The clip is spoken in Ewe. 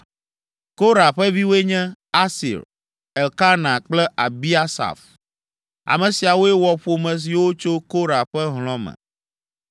Korah ƒe viwoe nye: Asir, Elkana kple Abiasaf. Ame siawoe wɔ ƒome siwo tso Korah ƒe hlɔ̃ me.